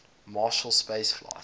marshall space flight